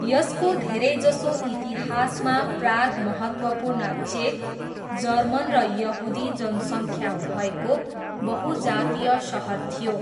यसको धेरैजसो इतिहासमा, प्राग महत्त्वपूर्ण चेक, जर्मन र यहुदी जनसङ्ख्या भएको बहु जातीय सहर थियो।